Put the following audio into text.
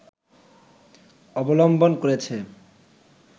অবলম্বন করেছে